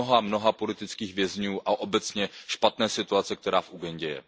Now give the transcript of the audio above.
mnoha politických vězňů a obecně špatné situace, která v Ugandě je.